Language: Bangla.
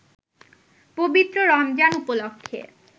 পবিত্র রমজান উপলক্ষে